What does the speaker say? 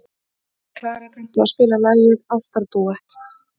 Klara, kanntu að spila lagið „Ástardúett“?